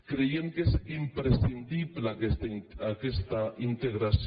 creiem que és imprescindible aques·ta integració